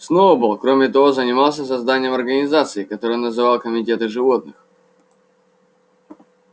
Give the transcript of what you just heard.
сноуболл кроме того занимался созданием организаций которые он называл комитеты животных